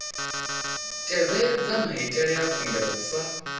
tevhedzwa maitele a khumbelo sa